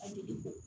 A tigi bɔ